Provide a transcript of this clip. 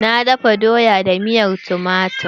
Na dafa doya da miyan tumatir.